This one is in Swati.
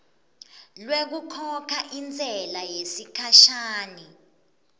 lwekukhokha intsela yesikhashana